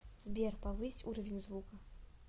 сбер повысь уровень звука